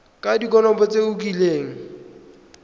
ka dikopo tse o kileng